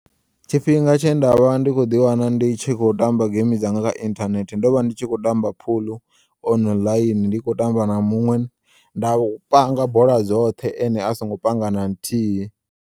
Tshifhinga tshe nda vha ndi kho ḓiwana ndi tshi kho tamba geimi dzanga kha inthanethe ndovha ndi tshi khotamba phuḽu online ndi kho u tamba na muṅwe nda panga bola dzoṱthe ene asongo panga na nthihi.